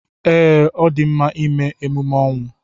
Ee, ọ dị mma ịme emume ọnwụ.